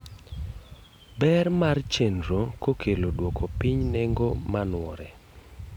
Ber mar chenro kokelo duoko piny nengo manuore